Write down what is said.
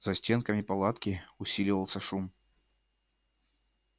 за стенками палатки усиливался шум